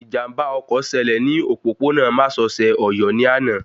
Ìjàmbá ọkọ̀ ṣẹlẹ̀ ní òpópó-ònà másosẹ̀ Ọ̀yọ́ ní àná